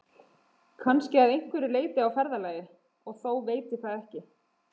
Kannski að einhverju leyti á ferðalagi, og þó veit ég það ekki.